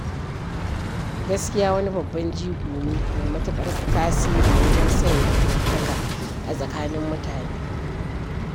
Gaskiya wani babban jigo ne mai matuƙar tasiri wajen sanya amintaka a tsakanin mutane.